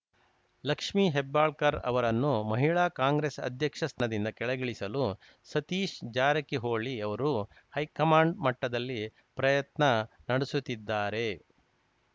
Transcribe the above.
ಲಕ್ಷ್ಮಿ ಹೆಬ್ಬಾಳ್ಕರ್‌ ಅವರನ್ನು ಮಹಿಳಾ ಕಾಂಗ್ರೆಸ್‌ ಅಧ್ಯಕ್ಷ ಸ್ಥಾನದಿಂದ ಕೆಳಗಿಳಿಸಲು ಸತೀಶ್‌ ಜಾರಕಿಹೊಳಿ ಅವರು ಹೈಕಮಾಂಡ್‌ ಮಟ್ಟದಲ್ಲಿ ಪ್ರಯತ್ನ ನಡೆಸುತ್ತಿದ್ದಾರೆ